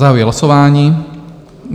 Zahajuji hlasování.